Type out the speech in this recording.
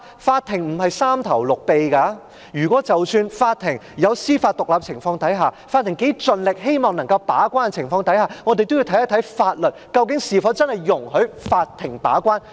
法庭並無三頭六臂，即使在司法獨立的情況下，即使法庭盡力希望能夠把關，也要視乎法律是否真的容許法庭把關。